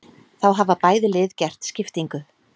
Þá hafa bæði lið gert skiptingu.